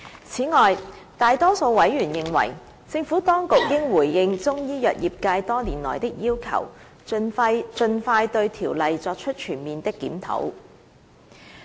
此外，大多數委員認為，政府當局應回應中醫藥業界多年來的要求，盡快對《條例》作出全面檢討。